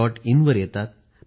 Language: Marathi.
in वर येतात